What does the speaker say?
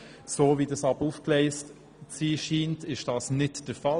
Wie das Projekt nun aber aufgegleist zu sein scheint, ist das nicht der Fall.